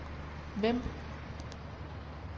Vemb